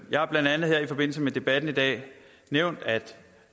jeg har blandt andet i forbindelse med debatten i dag nævnt at